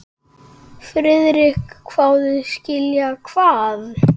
Friðrik hváði: Skilja hvað?